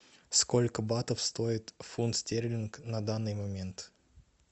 сколько батов стоит фунт стерлинг на данный момент